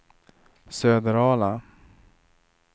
Söderala